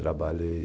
Trabalhei